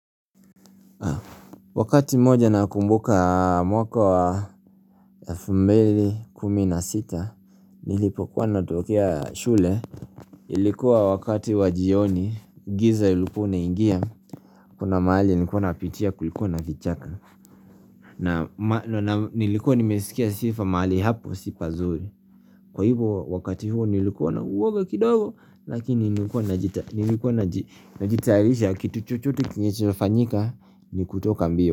Wakati mmoja nakumbuka mwaka wa elfu mbili kumi na sita nilipokuwa natokea shule ilikuwa wakati wa jioni giza ilikuwa ina ingia kuna mahali nilkuwa napitia kulikuwa na vichaka na nilikuwa nimesikia sifa mahali hapo si pazuri kwa hivyo wakati huo nilikuwa na uoga kidogo lakini nilikuwa na jitarisha kitu chochote kenye kinafanyika ni kutoka mbio.